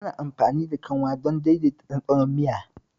Ana amfani da kanwa don daidaita ɗanɗanon miya.